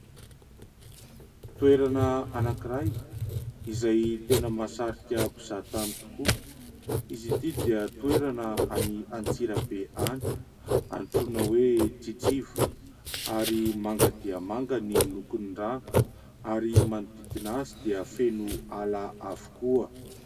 Toerana anankiray izay tena mahasarika mpizahan-tany tokoa, izy ity dia toerana any Antsirabe any antsoina hoe : Tritriva ary manga dia manga ny lokon'ny rano ary manodidina azy dia feno ala avokoa.